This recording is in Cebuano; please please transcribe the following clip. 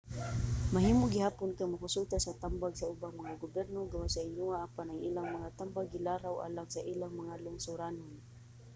mahimo gihapon kang mokonsulta sa tambag sa ubang mga gobyerno gawas sa inyoha apan ang ilang mga tambag gilaraw alang sa ilang mga lungsoranon